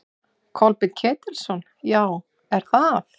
Kolbeinn Ketilsson: Já, er það?